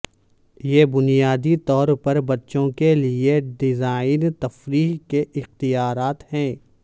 یہ بنیادی طور پر بچوں کے لئے ڈیزائن تفریح کے اختیارات ہے